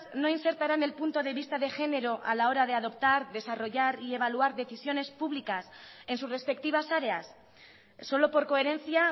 no insertarán el punto de vista de género a la hora de adoptar desarrollar y evaluar decisiones públicas en sus respectivas áreas solo por coherencia